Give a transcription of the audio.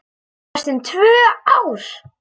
Næstum tvö ár!